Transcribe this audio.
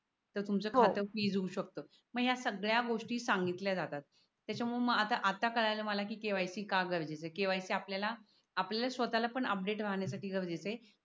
तर तुमच खात फ्रीज होवू शकत मग या सगळ्या गोष्टी सांगितल्या जातात त्याच्यामुळ मला आता कळायलय किती ठेवायची का गरजेचे आपल्याला आपल्या स्वतःला पण अपडेट राहण्यासाठी गरजेच आहे